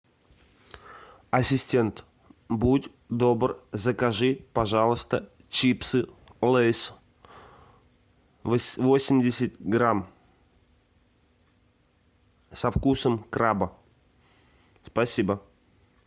ассистент будь добр закажи пожалуйста чипсы лейс восемьдесят грамм со вкусом краба спасибо